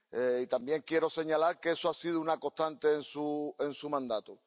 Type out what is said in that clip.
Y también quiero señalar que eso ha sido una constante en su mandato.